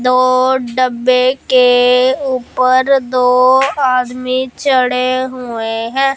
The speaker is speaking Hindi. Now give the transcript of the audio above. दो डब्बे के ऊपर दो आदमी चढ़े हुए हैं।